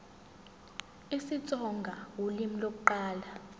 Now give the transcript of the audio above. isitsonga ulimi lokuqala